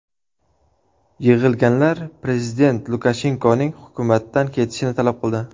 Yig‘ilganlar prezident Lukashenkoning hukumatdan ketishini talab qildi.